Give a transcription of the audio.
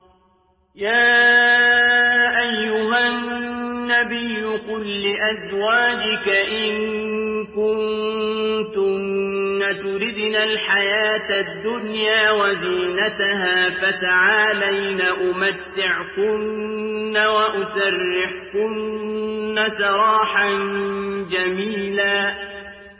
يَا أَيُّهَا النَّبِيُّ قُل لِّأَزْوَاجِكَ إِن كُنتُنَّ تُرِدْنَ الْحَيَاةَ الدُّنْيَا وَزِينَتَهَا فَتَعَالَيْنَ أُمَتِّعْكُنَّ وَأُسَرِّحْكُنَّ سَرَاحًا جَمِيلًا